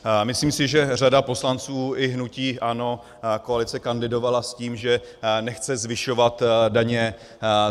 Myslím si, že řada poslanců i hnutí ANO, koalice, kandidovala s tím, že nechce zvyšovat daně.